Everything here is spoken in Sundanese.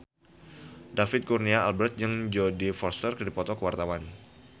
David Kurnia Albert jeung Jodie Foster keur dipoto ku wartawan